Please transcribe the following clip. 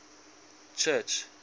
church